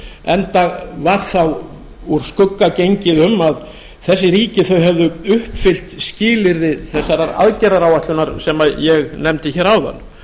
enda var þá úr skugga gengið um að þessi ríki höfðu uppfyllt skilyrði þessarar aðgerðaráætljunar sem ég nefndi áðan